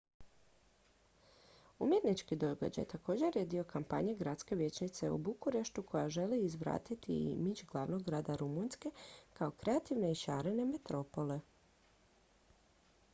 umjetnički događaj također je dio kampanje gradske vijećnice u bukureštu koja želi vratiti imidž glavnog grada rumunjske kao kreativne i šarene metropole